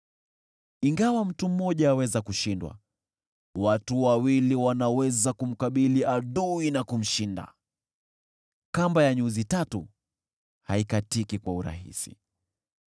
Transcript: Ingawa mtu mmoja aweza kushindwa, watu wawili wanaweza kumkabili adui na kumshinda. Kamba ya nyuzi tatu haikatiki kwa urahisi.